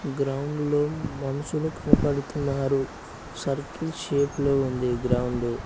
గ్రౌండ్లో మనుషులు కనపడుతున్నారు సర్కిల్ షేప్ లో ఉంది గ్రౌండ్ .